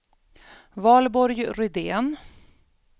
Valborg Rydén